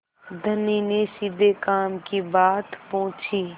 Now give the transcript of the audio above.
धनी ने सीधे काम की बात पूछी